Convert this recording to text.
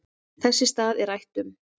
Þess í stað er rætt um